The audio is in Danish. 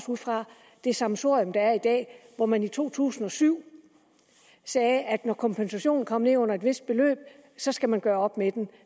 fra det sammensurium der er i dag hvor man i to tusind og syv sagde at når kompensationen kom ned under et vist beløb så skal man gøre op med den